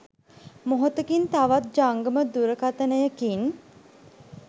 මොහොතකින් තවත් ජංගම දුරකථනයකින්